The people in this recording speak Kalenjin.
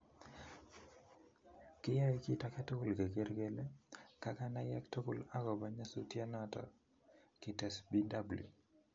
kiyoe kit agetugul keger kele kaganayek tugul agopo nyasutionoton kites BW.